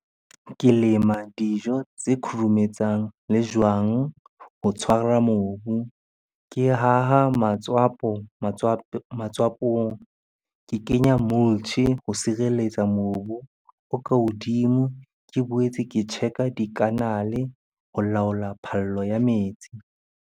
Ke lema dijo tse khurumetsang le jwang ho tshwara mobu. Ke haha matswapong, ke kenya ho sireletsa mobu o ka hodimo. Ke boetse ke check-a di-canal-e ho laola phallo ya metsi.